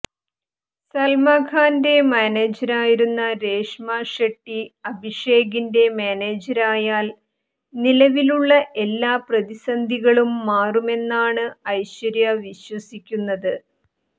സൽമാൻഖാന്റെ മാനേജരായിരുന്ന രേഷ്മ ഷെട്ടി അഭിഷേകിന്റെ മാനേജരായാൽ നിലവിലുള്ള എല്ലാ പ്രതിസന്ധികളും മാറുമെന്നാണ് ഐശ്വര്യ വിശ്വസിക്കുന്നത്